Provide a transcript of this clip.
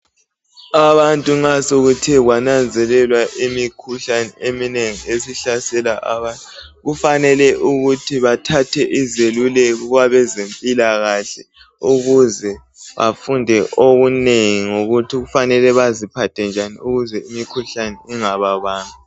Abantu nxa sokuthe kwananzelelwa imikhuhlane eminengi esihlasela abantu kufanele ukuthi bathathe izeluleko kwabezempilakahle ukuze bafunde okunengi ngokuthi fanele baziphathe njani ukuze imikhuhlane ingababambi.